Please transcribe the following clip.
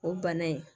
O bana in